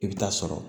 I bɛ taa sɔrɔ